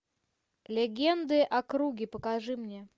легенды о круге покажи мне